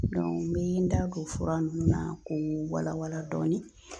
ni n ye n da ko fura nunnu na u be wala wala dɔɔni.